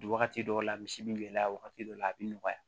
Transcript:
Wagati dɔw la misi bi gɛlɛya wagati dɔ la a bi nɔgɔya